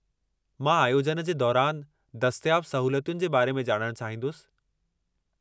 मां आयोजन जे दौरानि दस्तियाब सहूलियतुनि जे बारे में ॼाणणु चाहींदुसि।